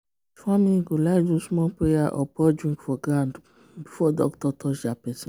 family go like do small prayer or pour drink for ground before doctor touch their person.